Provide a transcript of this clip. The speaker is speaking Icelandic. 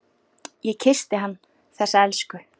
Ég kyssti hann, þessa elsku.